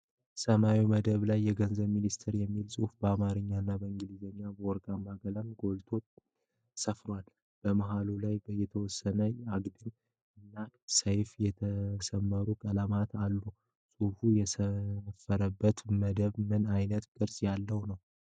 በሰማያዊ መደብ ላይ የገንዘብ ሚኒስቴር የሚል ጽሁፍ በአማረኛ እና በኢንግሊዘኛ በወርቃማ ቀለም ጎልቶ ሰፍሯል። መሃሉ ላይም የተወሰኑ አግድም እና ሰያፍ የተሰመሩ ቀለማት አሉት። ጽሁፉ የሰፈረበት መደብ ምን አይነት ቅርጽ ያለው ነው?